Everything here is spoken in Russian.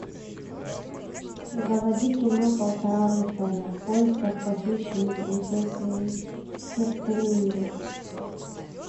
заводи кино полтора рыцаря в поисках похищенной принцессы херцелинды